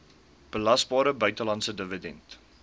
belasbare buitelandse dividend